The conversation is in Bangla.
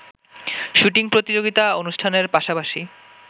শ্যুটিং প্রতিযোগিতা অনুষ্ঠানের পাশাপাশি